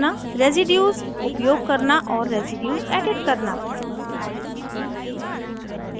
residues उपयोग करना और रेसीड्यूज़ edit करना